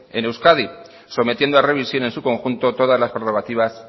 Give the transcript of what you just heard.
en euskadi sometiendo a revisión en su conjunto todas las prerrogativas